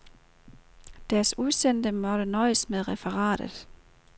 Deres udsendte måtte nøjes med referatet.